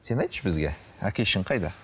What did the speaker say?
сен айтшы бізге әкешің қайда